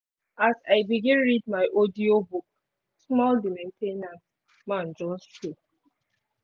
as i begin read my audiobook small the main ten ance man just show